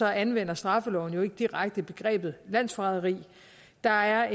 anvender straffeloven jo ikke direkte begrebet landsforræderi der er